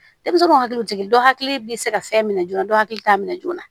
Denmisɛnninw hakilitigi dɔ hakiliki bɛ se ka fɛn min joona dɔ hakili t'a minɛ joona